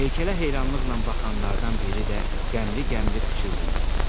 Heykələ heyranlıqla baxanlardan biri də qəmli-qəmli pıçıldayırdı.